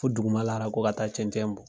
Fo dugumalara ko ka taa cɛncɛn bɔn